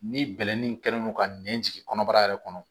Ni bɛlɛnin kɛlen don ka nɛn jigin kɔnɔbara yɛrɛ kɔnɔ